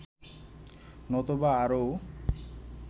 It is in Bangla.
নতুবা আরও